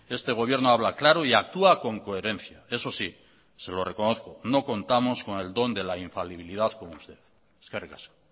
este gobierno habla claro y actúa con coherencia eso sí se lo reconozco no contamos con el don de la infalibilidad como usted eskerrik asko